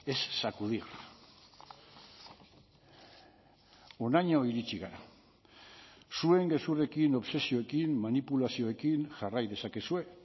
es sacudir honaino iritsi gara zuen gezurrekin obsesioekin manipulazioekin jarrai dezakezue